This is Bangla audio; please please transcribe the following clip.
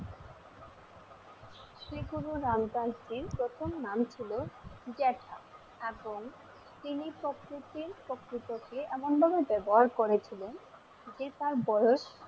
শ্রী গুরু রামদাসজির প্রথম নাম ছিল জেঠা এবং তিনি এমন ভাবে ব্যবহার করেছিলেন যে তার বয়স,